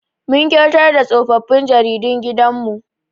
Mun kyautar da tsofaffin jaridun gidan mu